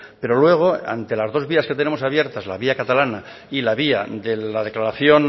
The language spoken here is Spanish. pero luego ante las dos vías que tenemos abiertas la vía catalana y la vía de la declaración